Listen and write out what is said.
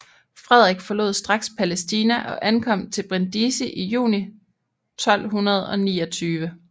Frederik forlod straks Palæstina og ankom til Brindisi i juni 1229